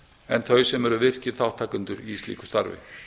en þau sem eru virkir þátttakendur í slíku starfi